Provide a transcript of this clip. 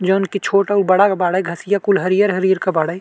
जोवन के छोट और बाड़ा बाड़े। घसिया कुल हरिहर हरिहर के बाड़े।